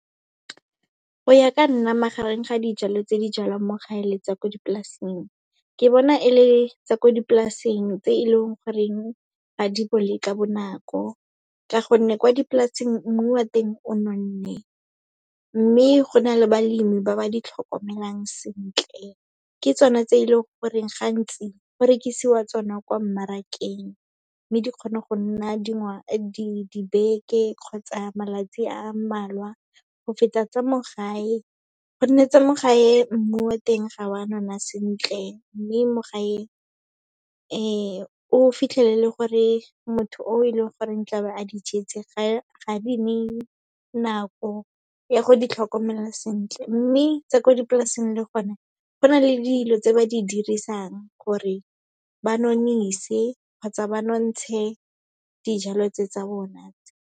Go ya ka nna, magareng ga dijalo tse di jalwang mo gae le tsa ko dipolaseng, ke bona e le tsa ko dipolaseng tse e leng goreng ga di bole ka bonako, ka gonne kwa dipolaseng mmu wa teng o nonne. Mme go na le balemi ba ba di tlhokomelang sentle, ke tsone tse e leng goreng gantsi go rekisiwa tsona kwa mmarakeng, mme di kgona go nna dibeke kgotsa malatsi a mmalwa go feta tsa mo gae, gonne tse mo gae mmu wa teng ga wa nona sentle. Mme mo gae, o fitlhelele gore motho o e leng goreng tlabe a di jetse ga di neye nako, ya go ditlhokomela sentle. Mme tsa ko dipolaseng le gone, go na le dilo tse ba di dirisang gore ba nonnise kgotsa ba nonntshe dijalo tse tsa bona.